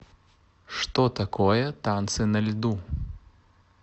что такое танцы на льду